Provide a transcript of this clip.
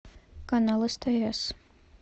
канал стс